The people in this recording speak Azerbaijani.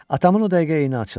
Atamın o dəqiqə eni açıldı.